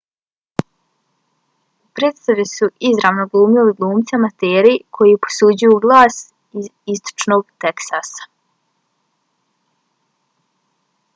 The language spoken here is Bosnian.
u predstavi su izvorno glumili glumci amateri koji posuđuju glas iz istočnog teksasa